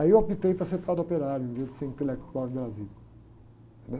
Aí eu optei por ser padre operário, em vez de ser intelectual de Brasília, né?